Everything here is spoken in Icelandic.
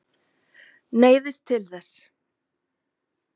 Neyðist til þess.